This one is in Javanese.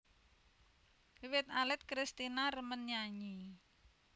Wiwit alit Kristina remen nyanyi